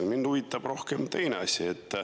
Mind huvitab rohkem teine asi.